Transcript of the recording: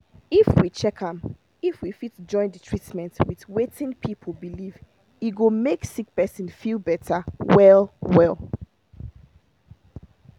make we check am if we fit join the treatment with wetin people believe e go make sick person feel better well well.